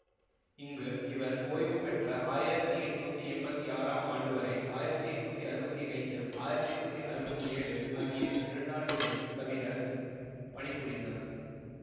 இங்கு இவர் ஓய்வுபெற்ற ஆயிரத்தி எட்ணூத்தி எம்பத்தி ஆறாம் ஆண்டுவரை ஆயிரத்தி எட்ணூத்தி அறுபத்தி ஐந்து ஆயிரத்தி எட்ணூத்தி அறுபத்தி ஏழு ஆகிய இரண்டாண்டுகள் தவிரபணிபுரிந்தார்